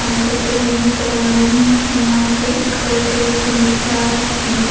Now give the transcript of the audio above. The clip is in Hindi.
काम करते हुए नजर आ रहे हैं यहां पे एक वर्कर सेमेंट करा रहा है पानी के--